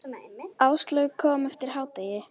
Áslaug kom eftir hádegi.